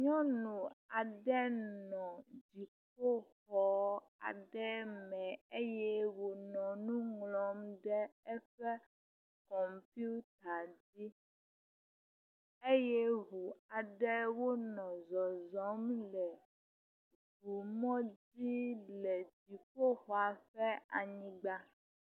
Nyɔnu aɖe nɔ dziƒoxɔ aɖe me eye wònɔ nu ŋlɔm ɖe eƒe kɔmputa dzi eye ʋu aɖewo nɔ zɔzɔm le ʋumɔdzi le dziƒoxɔa ƒe anyigba